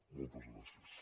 moltes gràcies